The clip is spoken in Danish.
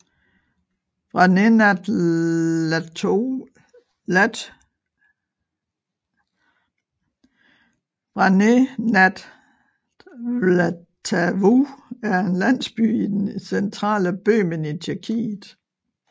Vrané nad Vltavou er en landsby i det centale Böhmen i Tjekkiet